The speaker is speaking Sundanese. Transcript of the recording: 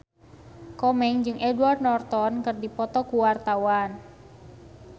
Komeng jeung Edward Norton keur dipoto ku wartawan